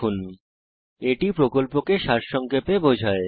এটি spoken tutorial প্রকল্পটি সারসংক্ষেপে বোঝায়